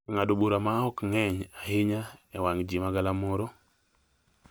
E ng’ado bura ma ok ng’eny ahinya e wang’ ji ma galamoro,